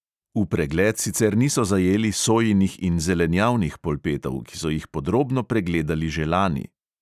V pregled sicer niso zajeli sojinih in zelenjavnih polpetov, ki so jih podrobno pregledali že lani.